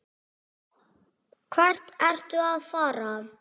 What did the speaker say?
Hvert ertu að fara?